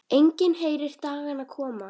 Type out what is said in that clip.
Enginn heyrir dagana koma.